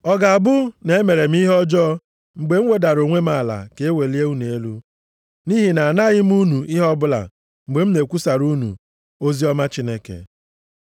Ọ ga-abụ na-emere m ihe ọjọọ mgbe m wedara onwe m ala ka e welie unu elu, nʼihi nʼanaghị m unu ihe ọbụla mgbe m na-ekwusara unu oziọma Chineke?